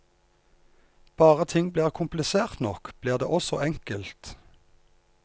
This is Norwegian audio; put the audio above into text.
Bare ting blir komplisert nok, blir det også enkelt.